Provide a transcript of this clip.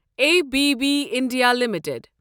A B B India limited